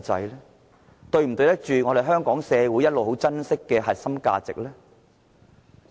是否對得起香港社會一直很珍惜的核心價值？